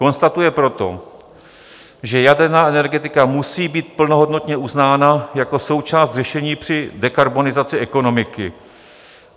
Konstatuje proto, že jaderná energetika musí být plnohodnotně uznána jako součást řešení při dekarbonizaci ekonomiky.